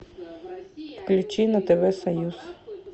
включи на тв союз